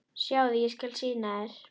Sjáðu, ég skal sýna þér